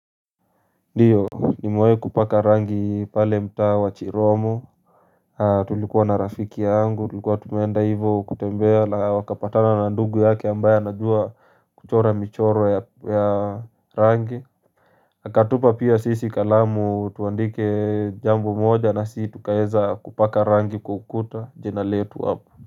Ndiyo nimewahi kupaka rangi pale mtaa wa chiromo Tulikuwa na rafiki yangu tulikuwa tumeenda hivo kutembea na wakapatana na ndugu yake ambaye anajua kuchora michoro ya rangi akatupa pia sisi kalamu tuandike jambo moja nasi tukaeza kupaka rangi kwa ukuta jina letu hapo.